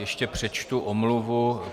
Ještě přečtu omluvu.